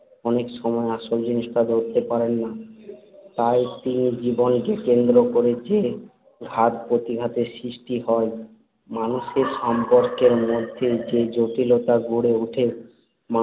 অনেক সময় আসল জিনিসটা ধরতে পারেন না, তাই তিনি জীবন কে কেন্দ্র করে যে ঘাত-প্রতিঘাতের সৃষ্টি হয় মানুষের সম্পর্কের মধ্যে যে জটিলতা গড়ে ওঠে